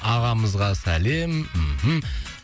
ағамызға сәлем мхм